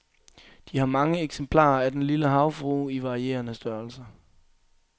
De har mange eksemplarer af den lille havfrue, i varierende størrelser.